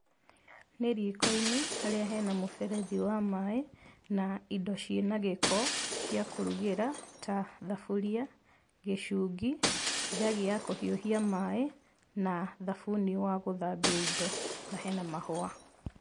Nĩ riiko-inĩ, harĩa hena mũberethi wa maaĩ, na indo ciĩna gĩko, cia kũrugĩra, ta thuburia, gĩcungi, njagi ya kũhiũhia maaĩ, na thabuni wa gũthambia indo, na hena mahũa.